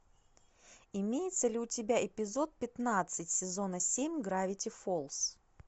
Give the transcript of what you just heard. имеется ли у тебя эпизод пятнадцать сезона семь гравити фолз